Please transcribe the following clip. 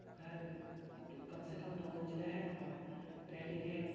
घर कम से कम दो मंजिला है और रैलिंग है।